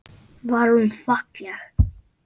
Var hún falleg?